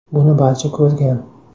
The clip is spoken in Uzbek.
Buni barcha ko‘rgan.